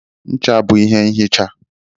ncha bụ ihe nhicha